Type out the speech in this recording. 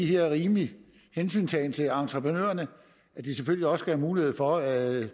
her rimelige hensyntagen til entreprenørerne så de selvfølgelig også har mulighed for at